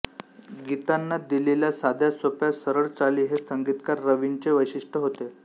गीतांना दिलेल्या साध्या सोप्या सरळ चाली हे संगीतकार रवींचे वैशिष्ट्य होते